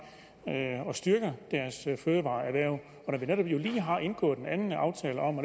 og styrker deres fødevareerhverv og når vi lige har indgået en anden aftale om